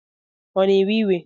Ọ na-ewe iwe?